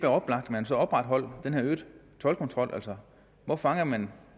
oplagt at man så opretholdt den her øgede toldkontrol hvor fanger man